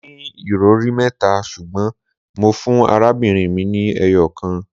Mó ní ìrọri mẹ́ta ṣùgbọ́n mó fún arábìnrin mi ni eyokan